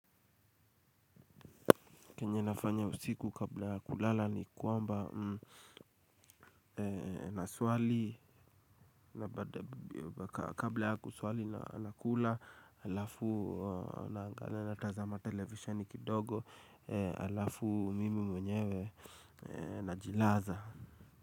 Kenye nafanya usiku kabla kulala ni kwamba nasali kabla kusali nakula alafu natazama televisheni kidogo alafu mimi mwenyewe najilaza.